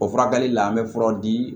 O furakɛli la an bɛ fura di